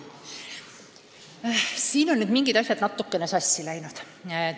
Siin on nüüd mingid asjad natukene sassi läinud.